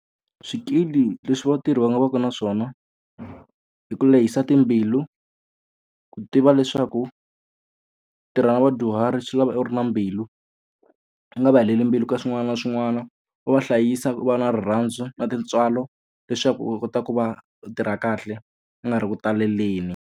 Swikili leswi vatirhi va nga va ka na swona, i ku lehisa timbilu, ku tiva leswaku ku tirha na vadyuhari swi lava u ri na mbilu. U nga va heleli mbilu ka swin'wana na swin'wana, u va hlayisa, u va na rirhandzu na tintswalo leswaku u kota ku va u tirha kahle u nga ri ku taleleni.